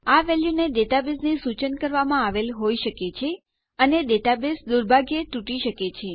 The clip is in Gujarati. આ વેલ્યુને ડેટાબેઝથી સુચન કરવામાં આવેલ હોઈ શકે છે અને ડેટાબેઝ દુર્ભાગ્યે તૂટી શકે છે